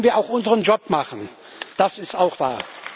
Allerdings müssen wir auch unseren Job machen, das ist auch wahr.